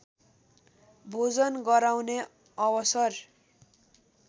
भोजन गराउने अवसर